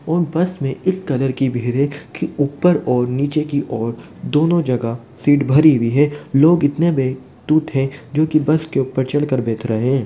और बस में इस कदर की भीड़ है कि ऊपर और नीचे की ओर दोनों जगह सीट भरी हुई हैं लोग इतने बेतुत है जो कि बस के ऊपर चढ़ कर बैठ रहे है।